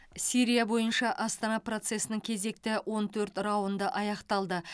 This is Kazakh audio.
сирия бойынша астана процесінің кезекті он төрт раунды аяқталды